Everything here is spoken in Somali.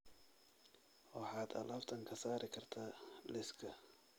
Waxaad alaabtan ka saari kartaa liiska